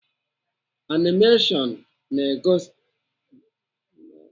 Animeshọn bụ ihe onyonyo na-egosi eserese na-emegharị emegharị nke eji akọ akụkọ